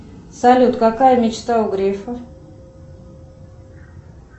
салют какая мечта у грефа